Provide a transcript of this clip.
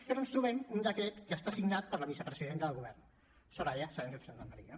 però ens trobem un decret que està signat per la vicepresidenta del govern soraya sáenz de santamaría